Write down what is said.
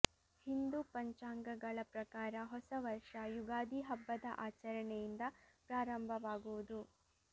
ಹಿಂದೂ ಪಂಚಾಂಗಗಳ ಪ್ರಕಾರ ಹೊಸ ವರ್ಷ ಯುಗಾದಿ ಹಬ್ಬದ ಆಚರಣೆಯಿಂದ ಪ್ರಾರಂಭವಾಗುವುದು